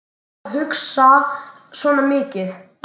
Hvað ertu að hugsa svona mikið?